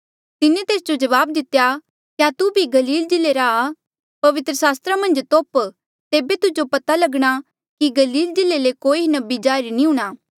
तिन्हें तेस जो जवाब दितेया क्या तू भी गलील जिल्ले रा आ पवित्र सास्त्रा मन्झ तोप तेबे तुजो पता लगणा कि गलील जिल्ले ले कोई नबी जाहिर नी हूंणां